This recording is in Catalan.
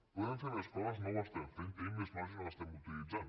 podem fer més coses no ho estem fent tenim més marge i no l’estem utilitzant